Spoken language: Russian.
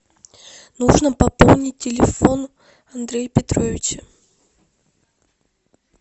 нужно пополнить телефон андрея петровича